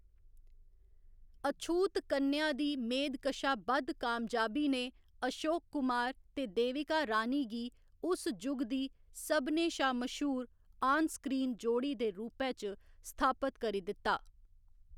अछूत कन्या दी मेद कशा बद्ध कामयाबी ने अशोक कुमार ते देविका रानी गी उस जुग दी सभनें शा मश्हूर आन स्क्रीन जोड़ी दे रूपै च स्थापत करी दित्ता।